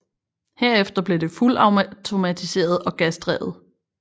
Herefter blev det fuldautomatiseret og gasdrevet